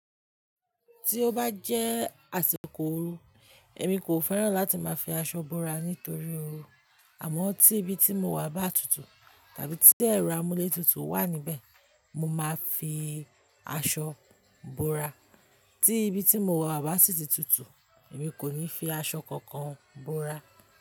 Tí ó bá jẹ́ àsìkò oru, èmi kò fẹ́ràn láti máa fi aṣọ búra nítorí oru, àmọ́ tí ibi tí mo wà bá tutù tàbí tí ẹ̀rọ amúlétutù wà níbẹ̀, mo máa fi aṣọ bora. Tí ibi tí mo wà bá sì ti tutù, èmi kò ní fi aṣọ kankan búra.